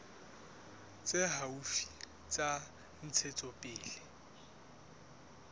tse haufi tsa ntshetsopele ya